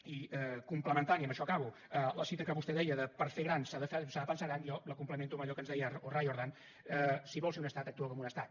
i complementant i amb això acabo la cita que vostè deia de per fer gran s’ha de pensar gran jo la complemento amb allò que ens deia riordan si vols ser un estat actua com un estat